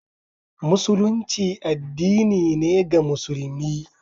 Musulunci addinin ne ga musulmi